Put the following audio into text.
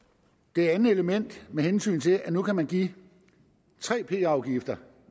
det andet element med hensyn til at nu kan man give tre p afgifter